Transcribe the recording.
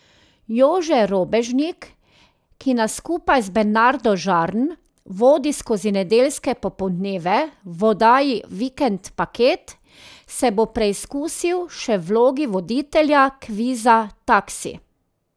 Jože Robežnik, ki nas skupaj z Bernardo Žarn vodi skozi nedeljske popoldneve v oddaji Vikend paket, se bo preizkusil še v vlogi voditelja kviza Taksi.